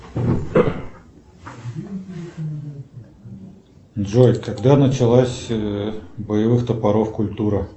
джой когда началась боевых топоров культура